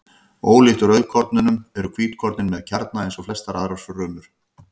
Ólíkt rauðkornunum eru hvítkornin með kjarna eins og flestar aðrar frumur.